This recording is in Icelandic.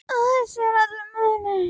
Á þessu er allur munur.